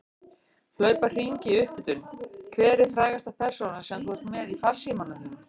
Hlaupa hringi í upphitun Hver er frægasta persónan sem þú ert með í farsímanum þínum?